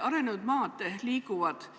Arenenud maad liiguvad –